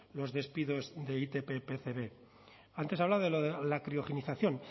los despidos de itp pcb antes hablaba de lo de la criogenización